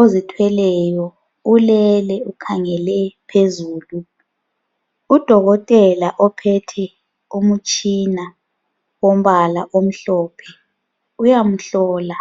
ozithweleyo ulele ukhangele phezulu. Udokotela ophethe umutshina wombala omhlophe uyamhlola.